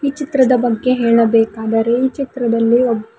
ಚಿತ್ರದ ಬಗ್ಗೆ ಹೇಳಬೇಕಾದರೆ ಈ ಚಿತ್ರದಲ್ಲಿ ಒಬ್ಬ್--